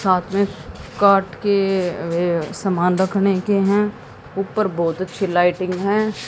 साथ में काठ के सामान रखने के हैं ऊपर बहोत अच्छी लाइटिंग है।